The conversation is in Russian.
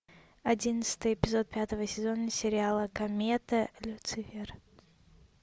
одиннадцатый эпизод пятого сезона сериала комета люцифер